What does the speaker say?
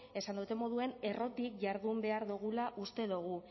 esan dodan moduan errotik jardun behar dugula uste dugu